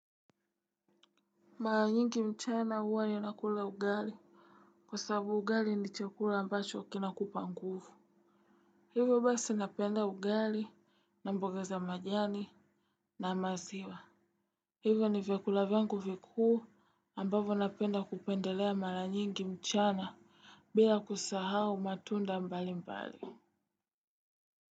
Mara nyingi mchana huwa ninakula ugali. Kwa sababu ugali ni chekula ambacho kinakupa nguvu. Hivyo basi napenda ugali na mboga za majani na maziwa. Hivyo n ivyakula vyangu vikuu ambavyo napenda kupendelea mara nyingi mchana bila kusahau matunda mbali mbali.